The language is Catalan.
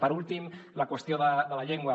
per últim la qüestió de la llengua